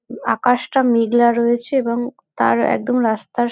আকাশটা মেঘলা রয়েছে এবং তার একদম রাস্তার--